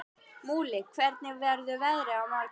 Múli, hvernig verður veðrið á morgun?